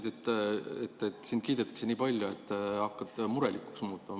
Sa ütlesid, et sind kiidetakse nii palju, et sa hakkad murelikuks muutuma.